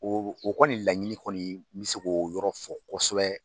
O o kɔni laɲini kɔni mɛ se k'o yɔrɔ fɔ kosɛbɛ.